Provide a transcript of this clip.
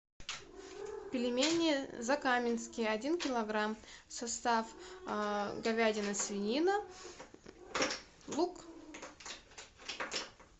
пельмени закаменские один килограмм состав говядина свинина лук